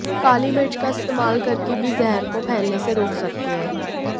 काली मिर्च का इस्तेमाल करके भी जहर को फैलने से रोक सकते हैं